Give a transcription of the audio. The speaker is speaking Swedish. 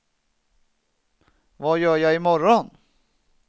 vad gör jag imorgon